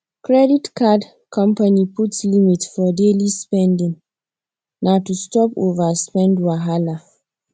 credit card company put limit for daily spending na to stop overspend wahala